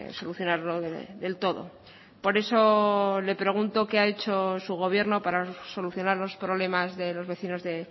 solucionarlo del todo por eso le pregunto qué ha hecho su gobierno para solucionar los problemas de los vecinos de